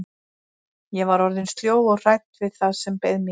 Ég var orðin sljó og hrædd við það sem beið mín.